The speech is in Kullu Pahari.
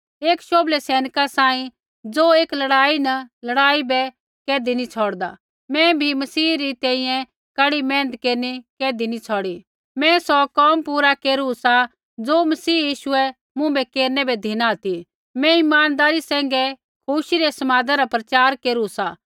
एक शोभलै सैनिका सांही ज़ो एक लड़ाई न लड़ाई बै कैधी नैंई छ़ौड़दा मैं भी मसीह री तैंईंयैं कड़ी मेहनत केरनी कैधी नैंई छौड़ी मैं सौ कोम पूरा केरु सा ज़ो मसीह यीशुऐ मुँभै केरनै बै धिना ती मैं इमानदारी सैंघै खुशी रै समादा रा प्रचार केरू सा